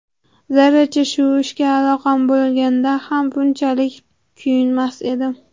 Zarracha shu ishga aloqam bo‘lganda ham bunchalik kuyinmas edim.